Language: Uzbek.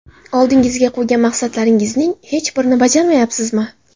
Oldingizga qo‘ygan maqsadlaringizning hech birini bajarmayapsizmi?